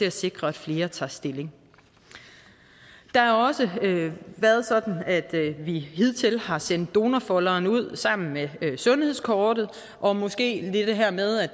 at sikre at flere tager stilling det har også været sådan at vi hidtil har sendt donorfolderen ud sammen med sundhedskortet og måske har det her med at